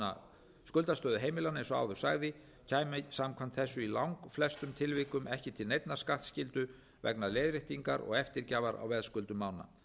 um skuldastöðu heimilanna eins og áður sagði kæmi samkvæmt þessu í langflestum tilvikum ekki til neinnar skattskyldu vegna leiðréttingar og eftirgjafar á veðskuldum manna